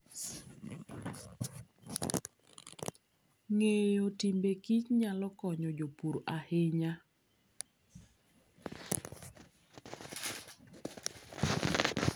Ng'eyo timbe kich nyalo konyo jopur ahinya.